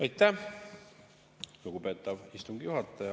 Aitäh, lugupeetav istungi juhataja!